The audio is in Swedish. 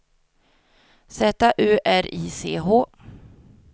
Z U R I C H